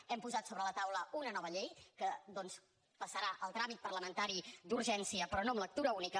hem posat sobre la taula una nova llei que doncs passarà el tràmit parlamentari d’urgència però no amb lectura única